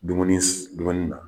Dumuni dumuni na